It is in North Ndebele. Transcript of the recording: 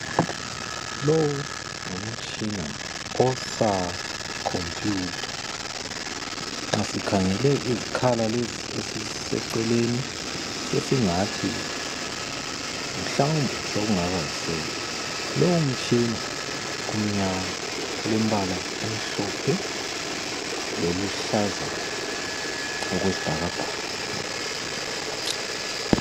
Lowu ngumtshina osakhompiyutha. Nxa sikhangele izikhala lezi eziseceleni sesingathi mhlawumbe sokungaba yisafe. Lowo mtshina umnyama ulembala emhlophe leluhlaza okwesibhakabhaka.